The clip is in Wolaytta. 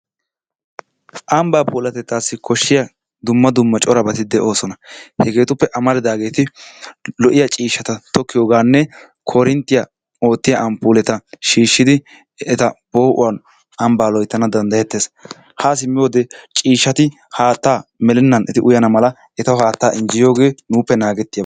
Ambbaa puulatettaassi koshiya dumma dumma corabati de'oososna. Hegeetuppe amaridaageeti lo'iya ciishshata tokkiyoganne koorintiya oottiya ampuuleta shiishidi eta poo'uwan ambbaa loyttana dandayetees, haa simiyode ciishshati haaattaa melenaan eti uyana mala etawu haattaa injjeyiyogee nuuppe naagettiyaba.